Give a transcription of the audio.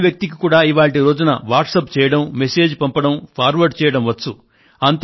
చదువు రాని వ్యక్తికి కూడా ఈ రోజున వాట్సప్ చేయడం మెసేజ్ పంపడం ఫార్వర్డ్ చేయడం వచ్చు